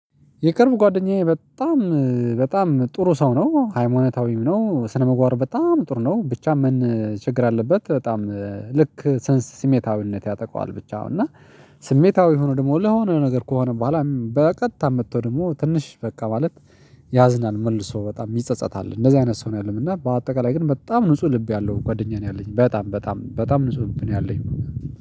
የቅርብ ጓደኛዬ በጣም በጣም ጥሩ ሰው ነው ሃይማኖታዊም ነው ስነ ምግባሩ በጣም ጥሩ ነው ብቻ ምን ችግር አለበት። በጣም ልክ ሰንስ ስሜታዊነት ያጠቃዋል ብቻ አሁን እና ስሜታዊ የሆነ ደግሞ ለሆነ ነገር ከሆነ በኋላ በቀጥታ መጥቶ ደግሞ ትንሽ በቃ ማለት ያዝናል መልሶ በጣም ይጸጸታል እንደዚህ አይነት ሰው ነው። ያለው እና በአጠቃላይ ግን በጣም ንጹህ ልብ ያለው ጓደኛዬ ነው ያለኝ በጣም በጣም በጣም ንጹህ ልብ ነው ያለኝ።